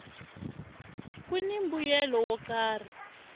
kuni mbuyelo wo karhi